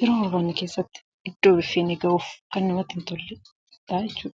yeroo barbaanne keessatti iddoo barbbanne ga'uuf kan namatti hintolleedha jechuudha.